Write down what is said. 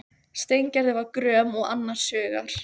Steingerður var gröm og annars hugar.